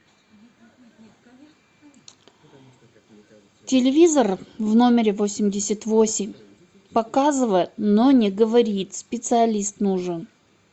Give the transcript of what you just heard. телевизор в номере восемьдесят восемь показывает но не говорит специалист нужен